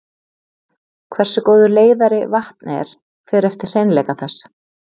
Hversu góður leiðari vatn er fer eftir hreinleika þess.